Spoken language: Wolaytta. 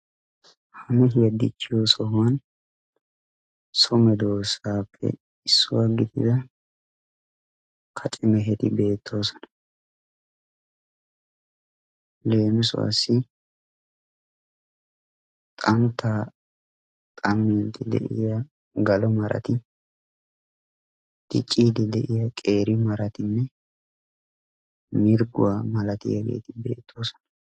mehiya dichiyo sohuwani so meheti hegetika kacce mehe gidiyagetti mirgoy, galo maray haratikka corati beettosona.